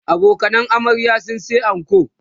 abokanan amaryar sun sa anko